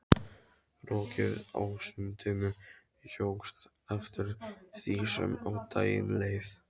Rokið á sundinu jókst eftir því sem á daginn leið.